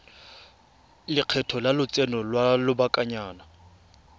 lekgetho la lotseno lwa lobakanyana